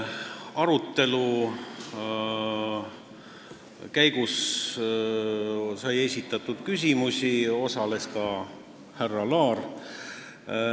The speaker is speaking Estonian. Arutelu käigus esitati küsimusi, osales ka härra Laar.